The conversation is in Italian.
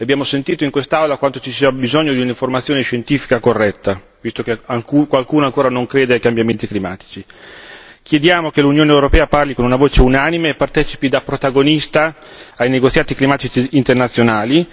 Abbiamo sentito in quest'Aula quanto ci sia bisogno di un'informazione scientifica corretta, visto che qualcuno ancora non crede ai cambiamenti climatici. Chiediamo che l'Unione europea parli con una voce unanime e partecipi da protagonista ai negoziati climatici internazionali.